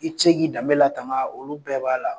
I cɛ k'i danbe la kaban olu bɛɛ b'a la.